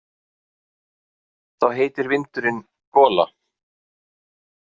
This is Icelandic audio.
Þá heitir vindurinn gola.